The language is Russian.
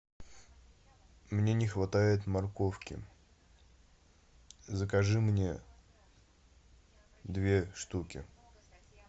мне не хватает морковки закажи мне две штуки